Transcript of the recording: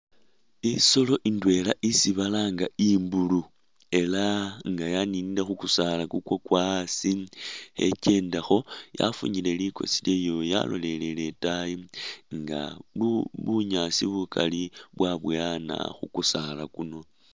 Isolo indwela isi balanga imbulu ela nga yaninile khukusala ikwakwa asi khekyendakho yafunyile likosi lyayo yaloleleye itayi nga bunyaasi bukali bwabowana khukusala kuno.